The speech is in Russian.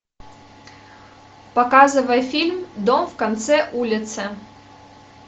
показывай фильм дом в конце улицы